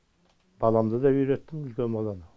баламды да үйреттім үлкен баламды